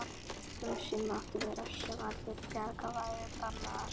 Um sinn mátti virðast sem allar bjargir væru bannaðar.